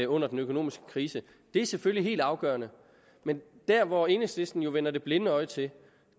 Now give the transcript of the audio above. under den økonomiske krise det er selvfølgelig helt afgørende men der hvor enhedslisten jo vender det blinde øje til